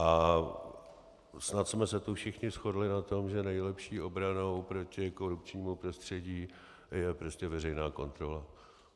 A snad jsme se tu všichni shodli na tom, že nejlepší obranou proti korupčnímu prostředí je prostě veřejná kontrola.